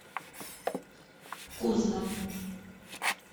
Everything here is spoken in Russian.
кузна